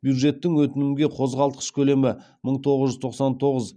бюджеттік өтінімге қозғалтқыш көлемі мың тоғыз жүз тоқсан тоғыз